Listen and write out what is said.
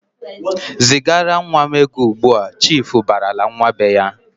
"Zigara nwa m ego ugbu!"Chiifu barala nwa be ya.